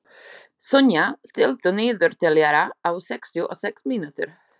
Sonja, stilltu niðurteljara á sextíu og sex mínútur.